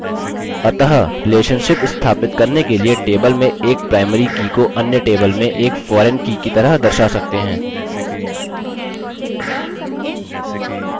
अतः relationship स्थापित करने के लिए table में एक primary की को अन्य table में एक foreign की की तरह दर्शा सकते हैं